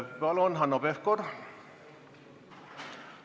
Palun, Hanno Pevkur!